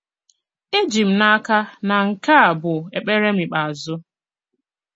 Èjì m n'aka na nke à bụ ekpèrè m ikpeàzụ.